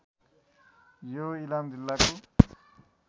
यो इलाम जिल्लाको